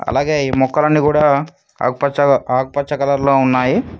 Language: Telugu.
అలాగే ఈ మొక్కలన్ని కూడా ఆకుపచ్చ ఆకుపచ్చ కలర్ లో ఉన్నాయి.